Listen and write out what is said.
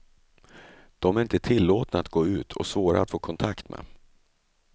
De är inte tillåtna att gå ut och svåra att få kontakt med.